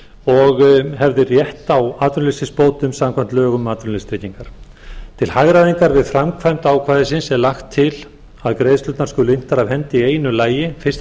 og hefði átt rétt á atvinnuleysisbótum samkvæmt lögum um atvinnuleysistryggingar til hagræðingar við framkvæmd ákvæðisins er lagt til að greiðslurnar skuli inntar af hendi í einu lagi fyrsta